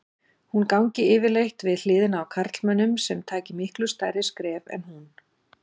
Hún gangi yfirleitt við hliðina á karlmönnum sem taki miklu stærri skref en hún.